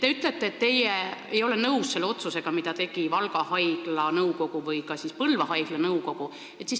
Te ütlete, et teie ei ole nõus selle otsusega, mille tegi Valga haigla nõukogu või ka Põlva haigla nõukogu.